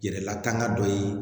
Yɛrɛla tanga dɔ ye